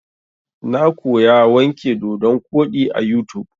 Na koya wanke dodon koɗi a YouTube.